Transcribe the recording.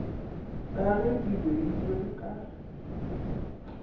ka ge di beilwe ka